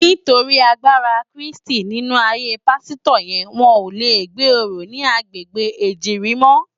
Nitóri àgbárá Kristi ninú àáyé pàsitò yèn wòn lé gbé óró ni àgbégbé Ejirin mò